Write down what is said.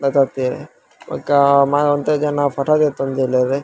ಪತತ್ತೆ ಬೊಕ ಮ ಒಂತೆ ಜನ ಫೊಟೊ ದೆತ್ತೊಂದುಲ್ಲೆರ್.